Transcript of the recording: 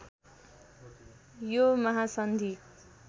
यो महासन्धि